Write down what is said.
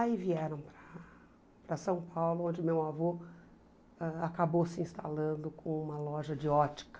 Aí vieram para São Paulo, onde meu avô ãh acabou se instalando com uma loja de ótica.